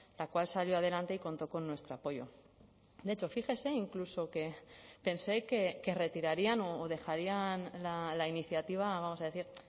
la cual salió adelante y contó con nuestro apoyo de hecho fíjese incluso que pensé que retirarían o dejarían la iniciativa vamos a decir